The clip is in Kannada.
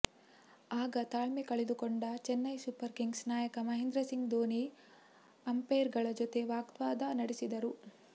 ಆಗ ತಾಳ್ಮೆ ಕಳೆದುಕೊಂಡ ಚೆನ್ನೈ ಸೂಪರ್ ಕಿಂಗ್ಸ್ನ ನಾಯಕ ಮಹೇಂದ್ರ ಸಿಂಗ್ ಧೋನಿ ಅಂಪೈರ್ಗಳ ಜೊತೆ ವಾಗ್ವಾದ ನಡೆಸಿದರು